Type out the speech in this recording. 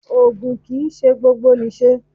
Ògùn kì ń ṣe gbogbo nì ṣe.